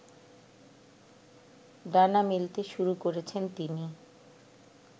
ডানা মেলতে শুরু করেছেন তিনি